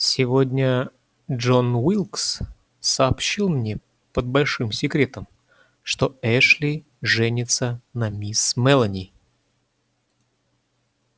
сегодня джон уилкс сообщил мне под большим секретом что эшли женится на мисс мелани